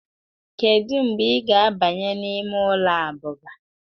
kedu mgbe ị ga-abanye n'ime ụlọ abụba